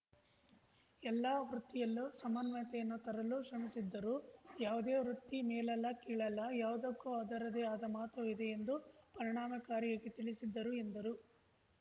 ಎಲ್ಲಾ ವೃತ್ತಿಯಲ್ಲೂ ಸಮನ್ವಯತೆಯನ್ನು ತರಲು ಶ್ರಮಿಸಿದ್ದರು ಯಾವುದೇ ವೃತ್ತಿ ಮೇಲಲ್ಲ ಕೀಳಲ್ಲ ಯಾವ್ದಕ್ಕೂ ಅದರದ್ದೆ ಆದ ಮಹತ್ವವಿದೆ ಎಂದು ಪರಿಣಾಮಕಾರಿಯಾಗಿ ತಿಳಿಸಿದ್ದರು ಎಂದರು